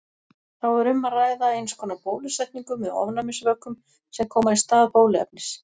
Þá er um að ræða eins konar bólusetningu með ofnæmisvökum sem koma í stað bóluefnis.